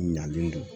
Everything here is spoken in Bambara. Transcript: Ɲalen don